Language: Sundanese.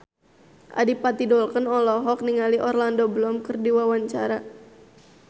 Adipati Dolken olohok ningali Orlando Bloom keur diwawancara